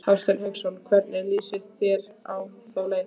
Hafsteinn Hauksson: Hvernig lýst þér á þá leið?